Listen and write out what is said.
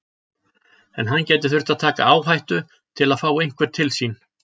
En hann gæti þurft að taka áhættu til að fá einhvern til sín.